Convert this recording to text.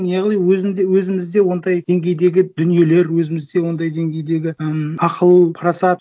яғни өзімізде ондай деңгейдегі дүниелер өзімізде ондай деңгейдегі ы ақыл парасат